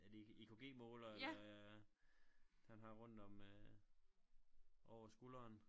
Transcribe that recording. Er det ikke EKG målere eller han har rundt om øh over skulderen